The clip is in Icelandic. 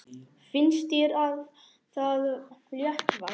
Finnst þér það léttvægt?